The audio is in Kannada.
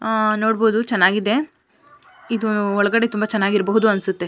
ಆಹ್ಹ್ ನೋಡಬಹುದು ಚೆನ್ನಾಗಿದೆ ಇದು ಒಳಗಡೆ ತುಂಬಾ ಚೆನ್ನಾಗಿ ಇರಬಹುದು ಅನ್ಸುತ್ತೆ.